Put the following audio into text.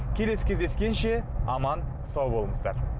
келесі кездескенше аман сау болыңыздар